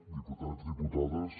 diputats diputades